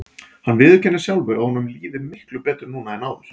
Hann viðurkennir sjálfur að honum líði miklu betur nú en áður.